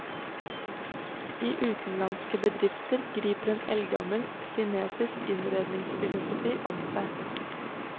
I utenlandske bedrifter griper eldgammel kinesisk innredningsfilosofi om seg.